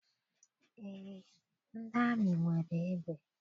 Eé, ndị amị nwere egbe.